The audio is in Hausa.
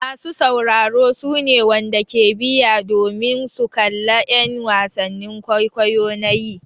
Masa sauraro su ne wanda ke biya domin su kalla en wasannin kwaikwayo na yi.